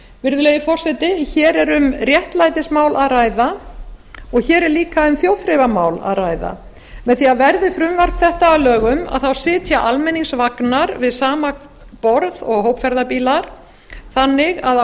virðulegi forseti hér er um réttlætismál að ræða og hér er auka um þjóðþrifamál að ræða með því að verði frumvarp þetta að lögum þá sitja almenningsvagnar við sama borð og hópferðabílar þannig að af